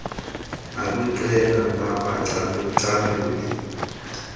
nakwiqela labacalu caluli